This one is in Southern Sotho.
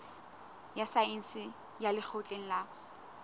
ya saense ya lekgotleng la